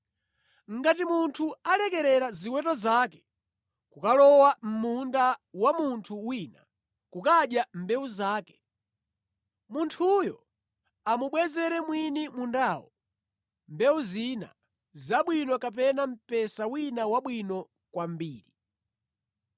“Ngati munthu alekerera ziweto zake kukalowa mʼmunda wa munthu wina kukadya mbewu zake, munthuyo amubwezere mwini mundawo mbewu zina zabwino kapena mpesa wina wabwino kwambiri.